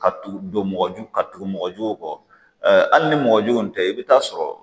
Ka tugu don mɔgɔjugu ka tugu mɔgɔjuguw kɔ hali ni mɔgɔjuguw tɛ i bɛ taa sɔrɔ